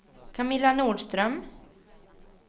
Camilla Nordström